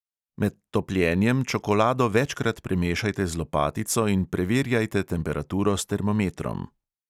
Med topljenjem čokolado večkrat premešajte z lopatico in preverjajte temperaturo s termometrom.